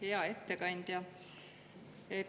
Hea ettekandja!